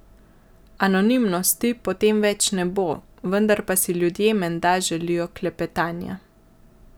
Anonimnosti potem več ne bo, vendar pa si ljudje menda želijo klepetanja.